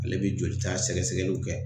Ale bɛ jolita sɛgɛsɛgɛliw kɛ